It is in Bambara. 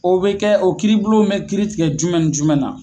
O be kɛ o kiiribulon mɛ kiiri tigɛ jumɛn ni jumɛn na ?